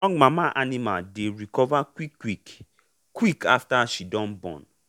strong mama animal dey recover quick quick quick after she don born.